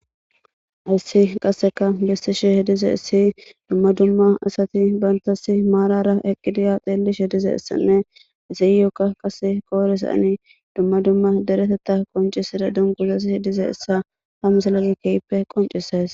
Hays qaseka besishe dizayis duma duma asati banitasi marara eqidi ha xelishe dizaysanee iyo koyirozani duma duma deretetha qonicises dunguzazi dizaysa ha misiley qonicises